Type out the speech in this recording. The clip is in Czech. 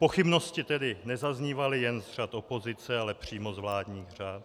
Pochybnosti tedy nezaznívaly jen z řad opozice, ale přímo z vládních řad.